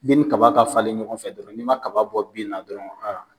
ni kaba ka falen ɲɔgɔn fɛ dɔrɔn n'i man kaba bɔ bin na dɔrɔn a